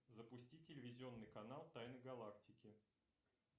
запусти телевизионный канал тайны галактики